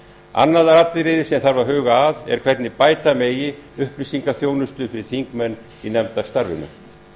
annað atriði sem þarf að huga að er hvernig bæta megi upplýsingaþjónustu fyrir þingmenn í nefndarstarfinu